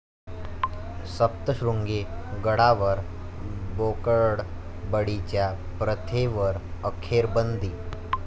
सप्तश्रृंगी गडावर बोकडबळीच्या प्रथेवर अखेर बंदी